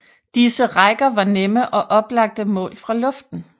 Disse rækker var nemme og oplagte mål fra luften